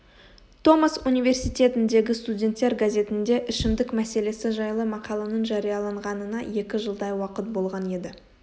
томас университетіндегі студенттер газетінде ішімдік мәселесі жайлы мақаланың жарияланғанына екі жылдай уақыт болған еді